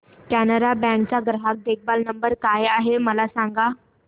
Canara bank चा ग्राहक देखभाल नंबर काय आहे मला सांगा